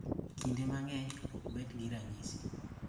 Kinde mang'eny ok obed gi ranyisi.